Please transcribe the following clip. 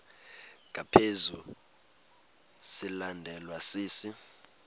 ngaphezu silandelwa sisi